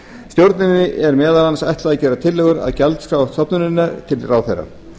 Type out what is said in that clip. stjórninni er meðal annars ætlað að gera tillögu að gjaldskrá stofnunarinnar til ráðherra